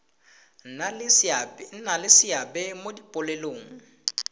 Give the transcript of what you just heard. nna le seabe mo dipoelong